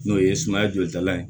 N'o ye sumaya jolitalan ye